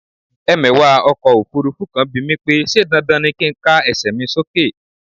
Ẹmẹ̀wà ọkọ̀ òfurufú kan bimí pé ṣe dandan ni kin ká ẹsẹ mi sókè?